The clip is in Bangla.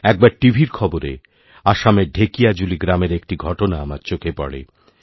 একবার টিভিরখবরে আসামের ঢেকিয়াজুলি গ্রামের একটি ঘটনা আমার চোখে পড়ে